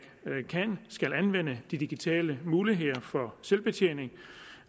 kan skal anvende de digitale muligheder for selvbetjening